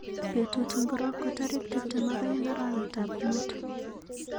Betut ngiro ko tarik tuptem ak aeng arawetab muut